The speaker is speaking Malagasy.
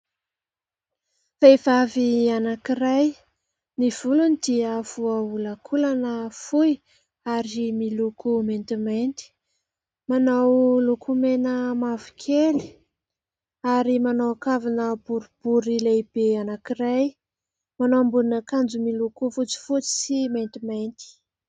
Vehivavy anankiray ny volony dia voaholakolana fohy ary miloko maintimainty, manao lokomena mavo kely ary manao kavina borobory lehibe anankiray, manao ambonin' akanjo miloko fotsifotsy sy maintimainty.